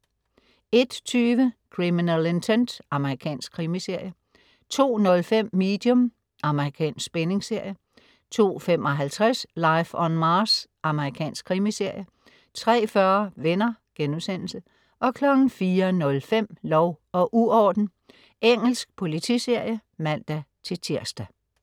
01.20 Criminal Intent. Amerikansk krimiserie 02.05 Medium. Amerikansk spændingsserie 02.55 Life on Mars. Amerikansk krimiserie 03.40 Venner* 04.05 Lov og uorden. Engelsk politiserie (man-tirs)